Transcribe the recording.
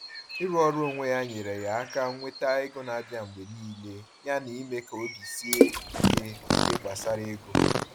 Ịrụ ọrụ onwe ya nyere ya aka nweta ego na-abịa mgbe niile yana ime ka obi ya sie ike n’ihe gbasara ego.